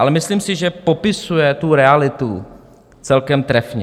Ale myslím si, že popisuje tu realitu celkem trefně.